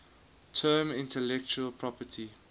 term intellectual property